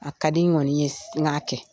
A ka di n kɔni ye n ga kɛ .